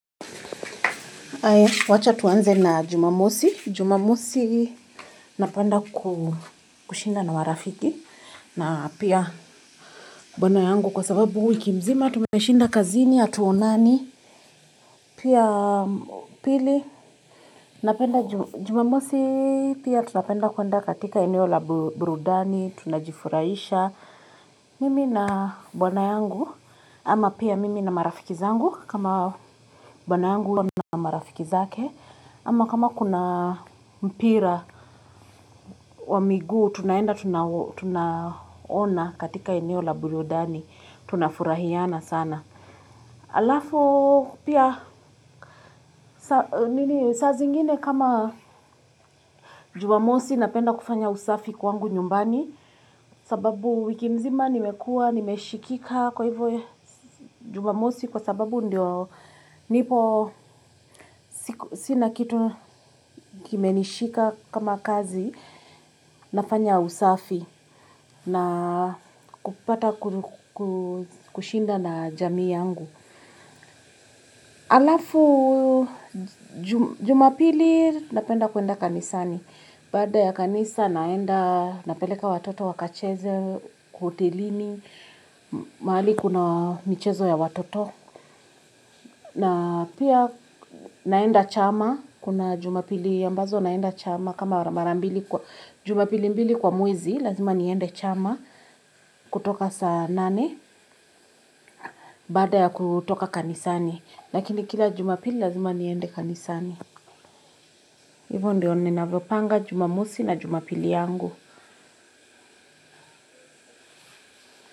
Haya, wacha tuanze na Jumamosi. Jumamosi napenda kushinda an marafiki na pia bwana yangu kwa sababu wiki mzima tuneshinda kazini hatuonani. Pia pili, napenda Jumamosi pia tunapenda kuenda katika eneo la burudani, tunajifurahisha mimi na bwana yangu, ama pia mimi na marafiki zangu kama bwana yangu na marafiki zake, ama kama kuna mpira wa miguu tunaenda tuna tuna ona katika eneo la burudani tunafurahiana sana. Alafu pia saa zingine kama Jumamosi napenda kufanya usafi kwangu nyumbani sababu wiki mzima nimekua, nimeshikika kwa hivyo Jumamosi kwa sababu ndio nipo sina kitu kimenishika kama kazi. Nafanya usafi na kupata kushinda na jamii yangu. Alafu Jumapili napenda kuenda kanisani, baada ya kanisa naenda napeleka watoto wakacheze kwa hotelini, mahali kuna michezo ya watoto, na pia naenda chama, kuna jumapili ambazo naenda chama kama mara mbili kwa jumapili mbili kwa mwezi, lazima niende chama kutoka saa nane, baada ya kutoka kanisani, lakini kila Jumapili lazima niende kanisani. Hivo ndio ninavyopanga jumamusi na Jumapili yangu.